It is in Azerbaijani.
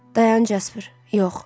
Dayan, Jasper, yox.